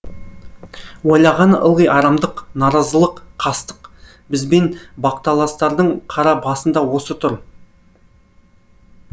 ойлағаны ылғи арамдық наразылық қастық бізбен бақталастардың қара басында осы тұр